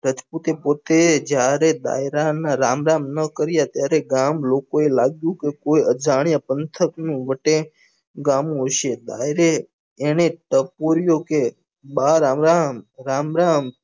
રાજપૂત એ પોતે જ્યારે દાયરા ના રામ રામ નાં કાર્ય ત્યારે ગામ લોકો એ લાગ્યું કે કોઈ અજાણ્યા પંથક ની વટે ગાન્યું હશે દાયરે એને પૂર્યું કે બા રામ રામ રામ રામ